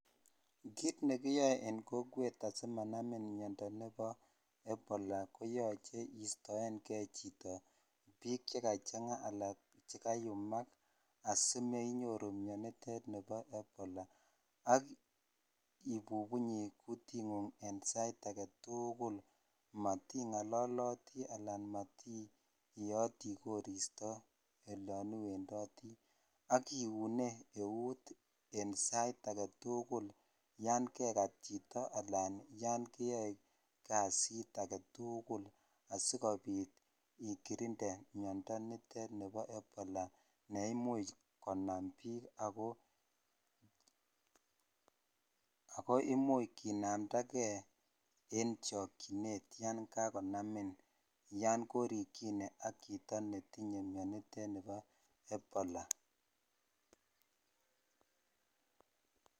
Kit ne kiyoe en kokwet asimanamin miondo nebo ebola koyoche istoenge chito biik che kachanga ala chekayumak. Asimenyoru mianitet nebo ebola ak ibubunyi kutingung en sait age tugul. Matingololoti anan mati ieoti kosirto elon iwendoti ak kiune eut eng sait age tugul yan kegat chito alan yon keyoe kasit age tugul asigopit ikirinde miondo nitet nebo ebola ne imuch konam biik ago imuch kinamndage en chokyinet yon kakonamin, yon korikyine ak chito netinye mianitet nebo ebola.